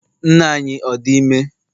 nne anyi ọ di ime?